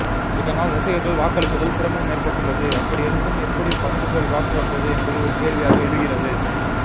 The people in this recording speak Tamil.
இதனால் ரசிகர்கள் வாக்களிப்பதில் சிரமம் ஏற்பட்டுள்ளது அப்படி இருந்தும் எப்படி பத்துகோடி வாக்கு வந்தது என்பது ஒரு கேள்வியாக எழுகிறது